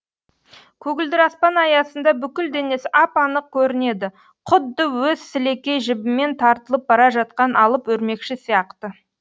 көгілдір аспан аясында бүкіл денесі ап анық көрінеді құдды өз сілекей жібімен тартылып бара жатқан алып өрмекші сияқты